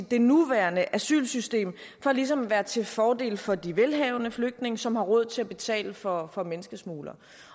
det nuværende asylsystem for ligesom at være til fordel for de velhavende flygtninge som har råd til at betale for for menneskesmuglere